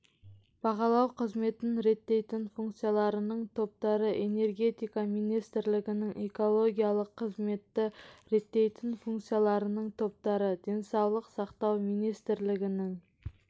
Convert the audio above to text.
бағалау қызметін реттейтін функцияларының топтары энергетика министрлігінің экологиялық қызметті реттейтін функцияларының топтары денсаулық сақтау министрлігінің